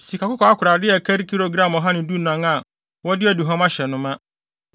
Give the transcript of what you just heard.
sikakɔkɔɔ akorade a ɛkari gram ɔha ne dunan (114) a wɔde aduhuam ahyɛ no ma;